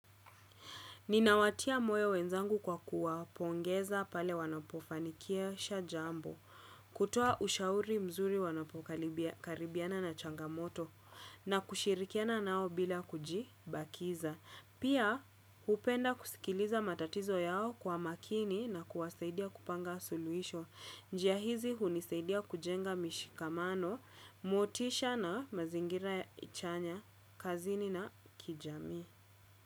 Ninawatia moyo wenzangu kwa kuwapongeza pale wanapofanikisha jambo, kutoa ushauri mzuri wanapokaribiana na changamoto, na kushirikiana nao bila kujibakiza. Pia, hupenda kusikiliza matatizo yao kwa makini na kuwasaidia kupanga suluhisho. Njia hizi hunisaidia kujenga mishikamano, motisha na mazingira ya chanya, kazini na kijamii.